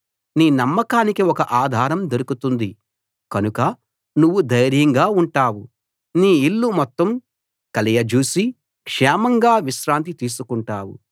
నీ నమ్మకానికి ఒక ఆధారం దొరుకుతుంది కనుక నువ్వు ధైర్యంగా ఉంటావు నీ ఇల్లు మొత్తం కలయజూసి క్షేమంగా విశ్రాంతి తీసుకుంటావు